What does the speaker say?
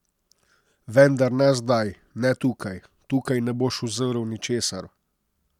Vendar ne zdaj, ne tukaj, tukaj ne boš uzrl ničesar.